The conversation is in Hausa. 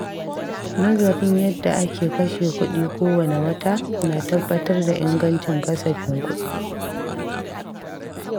Nazarin yadda ake kashe kuɗi kowane wata na tabbatar da ingancin kasafin kuɗi.